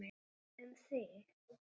Um þig.